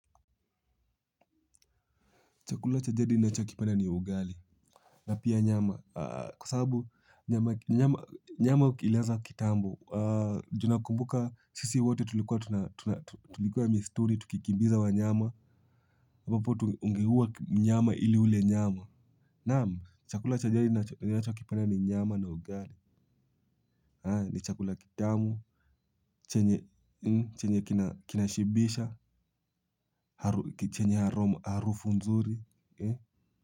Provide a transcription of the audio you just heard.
Chakula cha jadi ninachokipenda ni ugali. Na pia nyama. Kwa sababu nyama ilianza kitambo. Ju nakumbuka sisi wote tulikuwa misituni, tukikimbiza wanyama. Ambapo ungeua mnyama ili ule nyama. Naam, chakula cha jadi ninachokipenda ni nyama na ugali. Ni chakula kitamu. Chenye kinashibisha. Chenye harufu nzuri.